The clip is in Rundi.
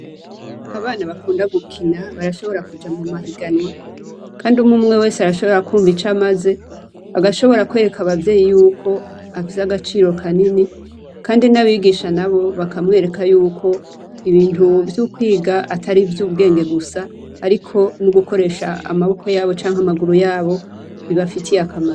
Abana bakunda gukina barashobora kuja mumahiganwa kandi umwe umwe wese arashobora kumva ico amaze agashobora kwereka abavyeyi yuko afise agaciro kanini kandi nabigisha nabo bakamwereka yuko ibintu vyo kwiga atari vyubwenge gusa ariko nogukoresha amaboko yabo canke amaguru yabo bibafitiye akamaro.